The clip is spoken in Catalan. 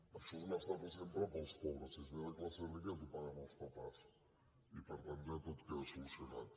això és una estafa sempre per als pobres si es ve de classe rica ja t’ho paguen els papàs i per tant ja tot queda solucionat